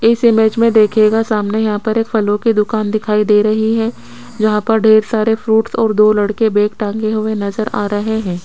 इस इमेज में देखिएगा सामने यहां पर एक फलों की दुकान दिखाई दे रही है जहां पर ढेर सारे फ्रूट्स और दो लड़के बैग टांगे हुए नजर आ रहे हैं।